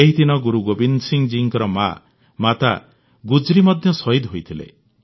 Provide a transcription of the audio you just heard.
ଏହିଦିନ ଗୁରୁ ଗୋବିନ୍ଦ ସିଂ ଜୀଙ୍କ ମା ମାତା ଗୁଜ୍ରି ମଧ୍ୟ ଶହୀଦ ହୋଇଥିଲେ